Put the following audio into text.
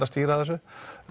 að stýra þessu